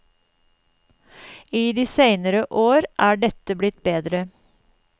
I de senere år er dette blitt bedre.